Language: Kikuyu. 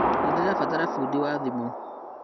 Nĩndĩrabatara bundi wa thimũ